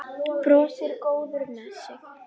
Brosir, góður með sig.